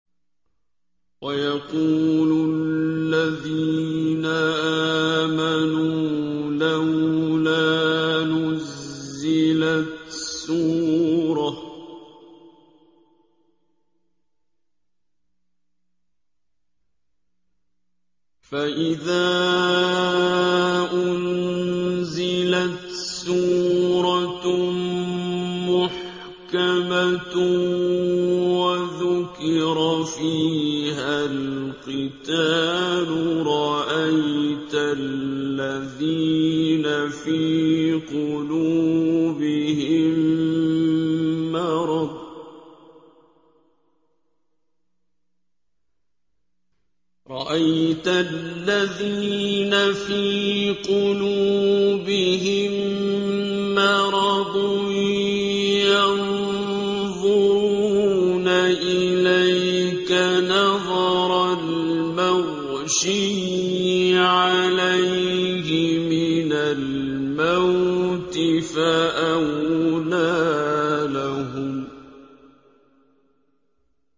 وَيَقُولُ الَّذِينَ آمَنُوا لَوْلَا نُزِّلَتْ سُورَةٌ ۖ فَإِذَا أُنزِلَتْ سُورَةٌ مُّحْكَمَةٌ وَذُكِرَ فِيهَا الْقِتَالُ ۙ رَأَيْتَ الَّذِينَ فِي قُلُوبِهِم مَّرَضٌ يَنظُرُونَ إِلَيْكَ نَظَرَ الْمَغْشِيِّ عَلَيْهِ مِنَ الْمَوْتِ ۖ فَأَوْلَىٰ لَهُمْ